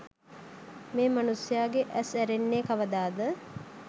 මේ මනුස්සයාගේ ඇස් ඇරෙන්නෙ කවදාද?